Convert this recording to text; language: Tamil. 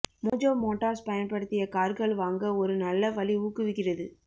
மோஜோ மோட்டார்ஸ் பயன்படுத்திய கார்கள் வாங்க ஒரு நல்ல வழி ஊக்குவிக்கிறது